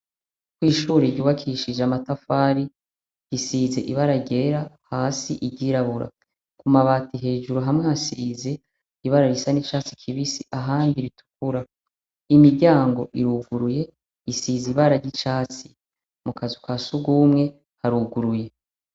Ishure ry'ubakishije amatafari, isize ibara ryera, hasi iryirabura amabati hamwe hejuru hasize ibara risa n'icatsi kibisi, ahandi ritukura, imiryango iruguruye isize ibara ry'icatsi, mu kazu ka sugumwe haruguruye.